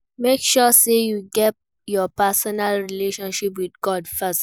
Make sure say you get your personal relationship with God first